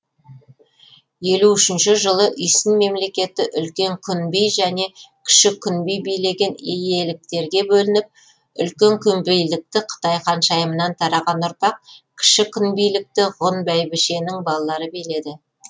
елу үшінші жылы үйсін мемлекеті үлкен күнби және кіші күнби билеген иеліктерге бөлініп үлкен күнбилікті қытай ханшайымынан тараған ұрпақ кіші күнбилікті ғұн бәйбішенің балалары биледі